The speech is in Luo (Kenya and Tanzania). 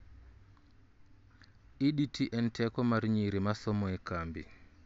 EDT en teko mar nyiri masomo e cambi